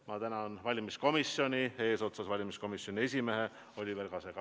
Ma tänan valimiskomisjoni eesotsas selle esimehe Oliver Kasega.